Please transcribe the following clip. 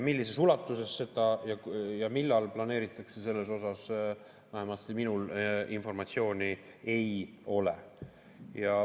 Millises ulatuses seda ja millal planeeritakse, selle kohta vähemalt minul informatsiooni ei ole.